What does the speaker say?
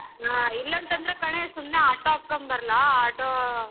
ಹಾ ಇಲ್ಲ ಅಂತ್ ಅಂದ್ರೆ ಕಣೆ ಸುಮ್ನೆ auto ಹತ್ಕೊಂಡ್ ಬರ್ಲಾ auto?